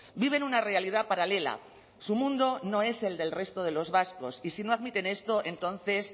viven una realidad paralela su mundo no es el del resto de los vascos y si no admiten esto entonces